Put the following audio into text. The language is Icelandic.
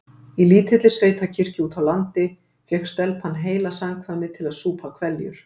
Í lítilli sveitakirkju úti á landi fékk stelpan heila samkvæmið til að súpa hveljur.